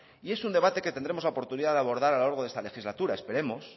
y es un debate que tendremos la oportunidad de abordar a lo largo de esta legislatura esperemos